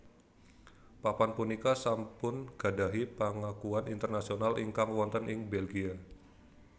Papan punika sampun gadhahi pangakuan Internasional ingkang wonten ing Belgia